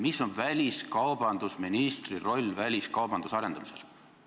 Mis on väliskaubandusministri roll väliskaubanduse arendamisel?